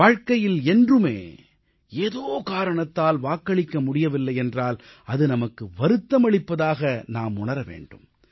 வாழ்க்கையில் என்றுமே ஏதோ காரணத்தால் வாக்களிக்க முடியவில்லை என்றால் அது நமக்கு வருத்தமளிப்பதாக நாம் உணர வேண்டும்